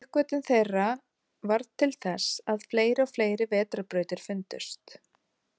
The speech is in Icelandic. Uppgötvun þeirra varð til þess að fleiri og fleiri vetrarbrautir fundust.